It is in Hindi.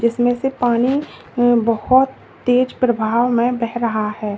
इसमें से पानी बहुत तेज प्रभाव में बह रहा है।